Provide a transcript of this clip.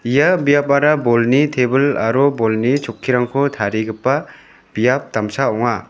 ia biapara bolni tebil aro bolni chokkirangko tarigipa biap damsa ong·a.